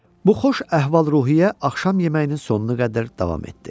Bu xoş əhval-ruhiyyə axşam yeməyinin sonuna qədər davam etdi.